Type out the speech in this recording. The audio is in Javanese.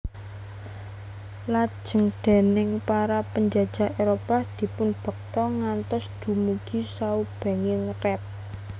Lajeng déning para panjajah Éropah dipunbekta ngantos dumugi saubenging rat